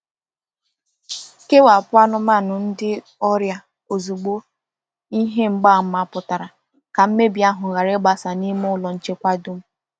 Kewapụ anụmanụ ndị ọrịa ozugbo ihe mgbaàmà pụtara ka mmebi ahụ ghara ịgbasa n’ime ụlọ nchekwa dum.